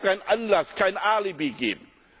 Es darf keinen Anlass, kein Alibi geben.